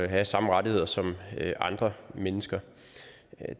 have samme rettigheder som andre mennesker